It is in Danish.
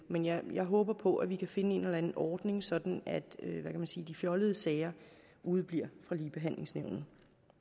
men jeg jeg håber på at vi kan finde en eller anden ordning sådan at de fjollede sager udebliver fra ligebehandlingsnævnet